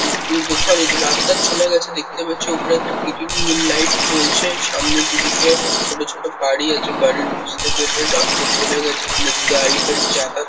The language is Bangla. উদ্রফারে রাস্তা চলে গেছে দেখতে পাচ্ছি ওপরে একটা গ্রী-ইন লাইট জ্বলছে সামনে দুদিকে ছোট ছোট বাড়ি আছে বাড়ির নিচ থেকে একটা রাস্তা চলে গেছে এখানে গাড়ি-ফাড়ি যাতা--